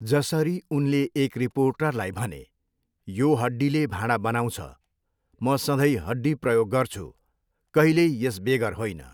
जसरी उनले एक रिपोर्टरलाई भने, 'यो हड्डीले भाँडा बनाउँछ। म सधैँ हड्डी प्रयोग गर्छु, कहिल्यै यस बेगर होइन।'